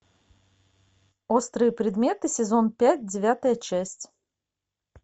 острые предметы сезон пять девятая часть